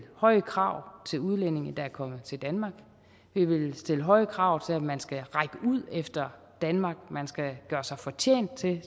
høje krav til udlændinge der er kommet til danmark vi vil stille høje krav til at man skal række ud efter danmark man skal gøre sig fortjent til